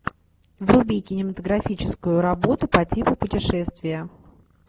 вруби кинематографическую работу по типу путешествия